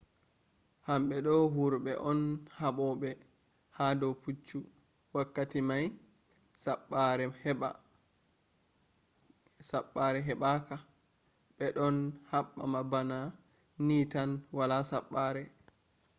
hamɓe do wurɓe on haɓoɓe ha do puccu wakkati mai saɓɓare heɓɓa ka be ɗon haɓɓa bana ni tan wala saɓɓare